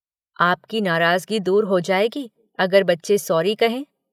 आपकी नाराज़गी दूर हो जाएगी, अगर बच्चे सॉरी कहें।